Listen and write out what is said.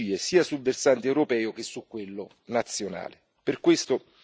alle strategie sia sul versante europeo che su quello nazionale.